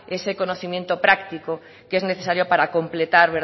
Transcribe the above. ese conocimiento práctico que es necesario para completar